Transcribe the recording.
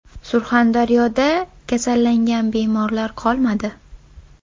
Surxondaryoda kasallangan bemorlar qolmadi.